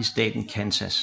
i staten Kansas